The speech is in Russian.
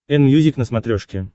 энмьюзик на смотрешке